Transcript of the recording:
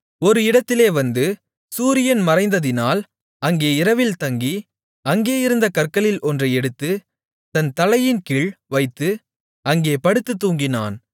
ஒரு இடத்திலே வந்து சூரியன் மறைந்ததினால் அங்கே இரவில் தங்கி அங்கேயிருந்த கற்களில் ஒன்றை எடுத்துத் தன் தலையின்கீழ் வைத்து அங்கே படுத்துத் தூங்கினான்